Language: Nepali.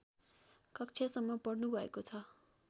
कक्षासम्म पढ्नुभएको छ